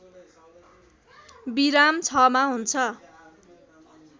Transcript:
विराम ६ मा हुन्छ